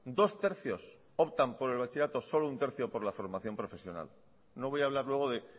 dos tercios optan por el bachillerato solo un tercio por la formación profesional no voy a hablar luego de